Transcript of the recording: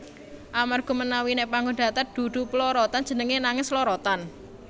Amarga menawi nèk panggon datar dudu plorotan jenengé nanging slorotan